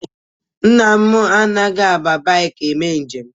Nna m anaghị aba baiki eme njem